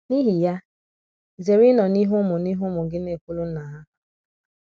N’ihi ya, zere ịnọ n’ihu ụmụ n’ihu ụmụ gị na - ekwụlụ nna’ ha.